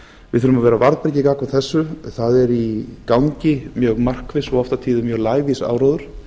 við þurfum að vera á varðbergi gagnvart þessu það er í gangi mjög markviss og oft á tíðum mjög lævís áróður